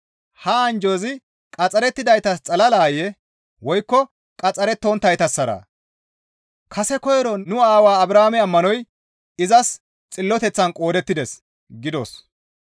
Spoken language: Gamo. Ha anjjozi qaxxarettidaytas xalalayee? Woykko qaxxarettonttaytassaraa? «Kase koyro nu aawaa Abrahaame ammanoy izas xilloteththan qoodettides» gidos.